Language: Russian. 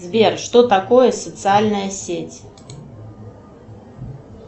сбер что такое социальная сеть